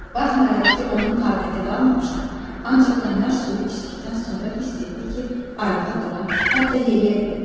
Baxmayaraq ki, onun taqəti qalmamışdı, ancaq qaynar suyu içdikdən sonra hiss etdi ki, ayağa dura, hətta yeriyə bilər.